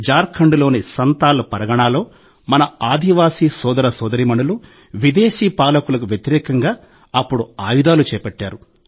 జార్ఖండ్లోని సంథాల్ పరగణాలో మన ఆదివాసీ సోదర సోదరీమణులు విదేశీ పాలకులకు వ్యతిరేకంగా అప్పుడు ఆయుధాలు చేపట్టారు